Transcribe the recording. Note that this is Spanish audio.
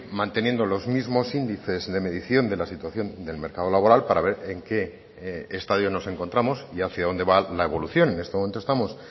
manteniendo los mismos índices de medición de la situación del mercado laboral para ver en qué estadio nos encontramos y hacia dónde va la evolución en este momento estamos